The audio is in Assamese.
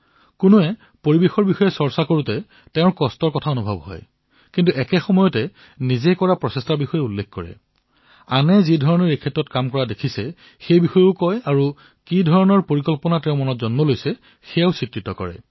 কোনোবাৰ পৰিবেশৰ কথা আলোচনা কৰিলে মনত উদয় হোৱা পীড়াৰ কথা ব্যক্ত কৰে কিন্তু লগতে তেওঁ নিজে যি প্ৰয়োগ কৰিছে সেয়াও কয় যি প্ৰয়োগ তেওঁ দেখিছে সেই বিষয়ে কয় আৰু যি কল্পনা তেওঁৰ মনলৈ আহে সেয়া চিত্ৰিত কৰে